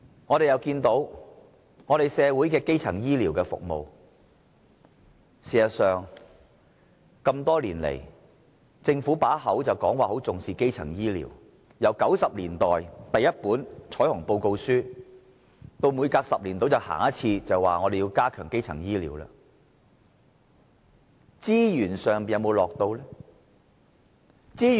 我們亦看到社會的基層醫療服務，事實上，政府多年來口說重視基層醫療，由1990年代第一本彩虹報告書，到每隔10年便說要加強基層醫療，但它有否投放資源？